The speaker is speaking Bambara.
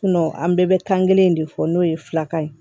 an bɛɛ bɛ kan kelen in de fɔ n'o ye filakan ye